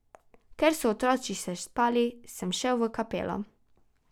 Ker so otroci še spali, sem šel v kapelo.